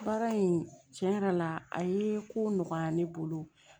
Baara in tiɲɛ yɛrɛ la a ye ko nɔgɔya ne bolo